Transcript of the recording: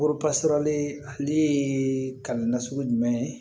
ale ka na sugu jumɛn ye